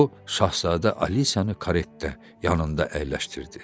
O şahzadə Alisiyanı karetdə yanında əyləşdirdi.